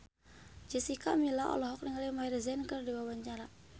Jessica Milla olohok ningali Maher Zein keur diwawancara